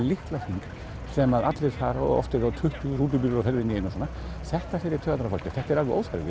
litla hring sem allir fara og oft eru tuttugu rútubílar á ferðinni í einu þetta fer í taugarnar á fólki og þetta er alveg óþarfi